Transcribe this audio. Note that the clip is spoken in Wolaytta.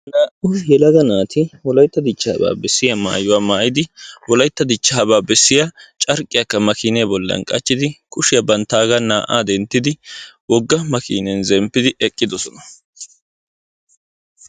naa'u yelaga naati wolaytta dichaabaa bessiya maayuwa maayidi wolaytta dichaaba bessiya carqqiyaakka bantta makiinee boli qachchidi zemppidi eqqidosona.